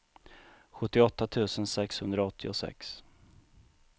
sjuttioåtta tusen sexhundraåttiosex